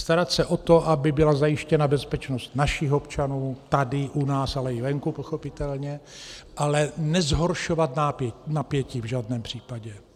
Starat se o to, aby byla zajištěna bezpečnost našich občanů tady u nás, ale i venku pochopitelně, ale nezhoršovat napětí v žádném případě.